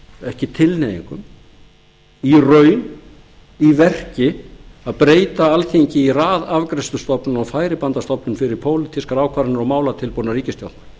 ekki tilhneigingum í raun og í verki að breyta alþingi í raðafgreiðslustofnun og færibandastofnun fyrir pólitískar ákvarðanir og málatilbúnað ríkisstjórnarinnar